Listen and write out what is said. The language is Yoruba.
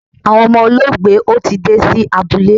Awọn ọmọ olóògbé ò tii dé sí abúlé